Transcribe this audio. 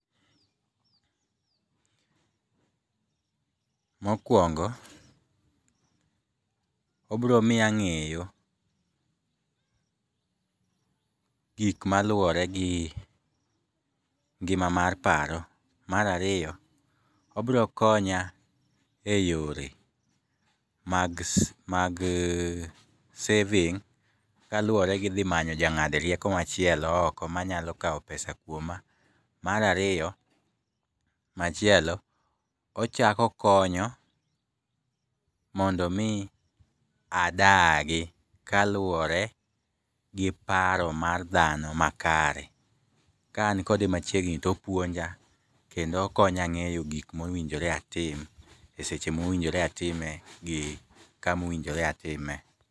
Mokuongo, obiro miyo ang'eyo gik maluwore gi ngima mar paro. Mar ariyo, obiro konya e yore mag mag saving, kaluwore gi dhi manyo ja ng'ad rieko machielo oko manyalo kao pesa kuoma. Mar ariyo, machielo, ochako okonyo mondo mii adagi kaluwore gi paro mar dhano ma kare. Ka an kode machiegni, topuonja, kendo okonya ng'eyo gik mowinjore atim e seche mowinjore atime gi kama owinjore atime.